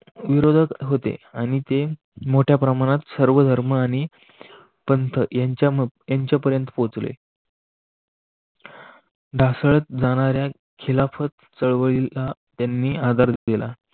क होते आणि ते मोठ्या प्रमाणात सर्व धर्म आणि पंत यांच्यापर्यंत पोहोचले जाणाऱ्या खिलाफत चळवळीला त्यांनी आधार दिला.